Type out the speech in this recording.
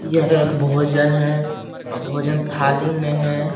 यह एक भोजन है भोजन थाली में है।